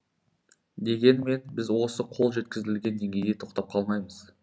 дегенмен біз осы қол жеткізілген деңгейде тоқтап қалмаймыз